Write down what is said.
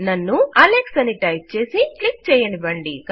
నన్ను అలెక్స్ అని టైప్ చేసి క్లిక్ చేయనివ్వండి